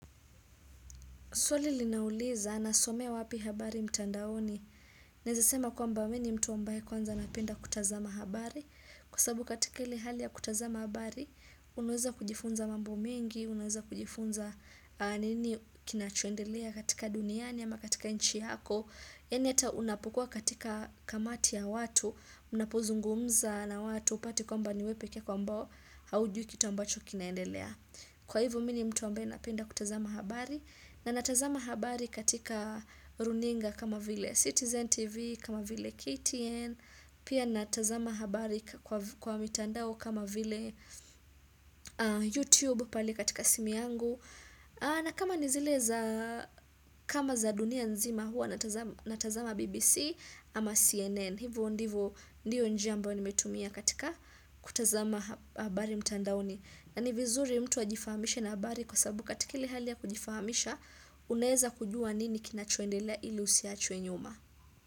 Swali linauliza, nasomea wapi habari mtandaoni. Naeza sema kwamba mi ni mtu ambae kwanza napenda kutazama habari. Kwa sababu katika ile hali ya kutazama habari, unaweza kujifunza mambo mingi, unaweza kujifunza nini kinachoendelea katika duniani ama katika nchi yako. Yani ata unapokua katika kamati ya watu, unapozungumza na watu upati kwamba niwepeke yako ambao haujui kitu ambacho kinaendelea. Kwa hivo mi ni mtu ambae napenda kutazama habari. Na natazama habari katika runinga kama vile Citizen TV kama vile KTN Pia natazama habari kwa mitandao kama vile YouTube pali katika simi yangu. Na kama ni zile za kama za dunia nzima hua natazama natazama BBC ama CNN. Hivo ndivo ndiyo njia ambao nimetumia katika kutazama habari mtandaoni. Na ni vizuri mtu ajifahamishe na habari kwa sababu katika ile hali ya kujifahamisha, unaeza kujua nini kinachoendela ili usiachwe nyuma.